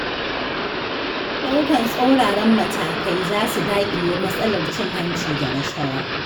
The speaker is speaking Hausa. Ɗaukar tsauraran matakai, za su daƙile matsalar cin hanci da rashawa.